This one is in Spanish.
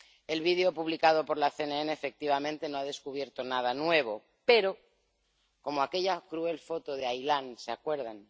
El vídeo publicado por la CNN efectivamente no ha descubierto nada nuevo, pero, como aquella cruel foto de Aylán —¿se acuerdan?―,